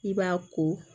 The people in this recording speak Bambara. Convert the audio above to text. I b'a ko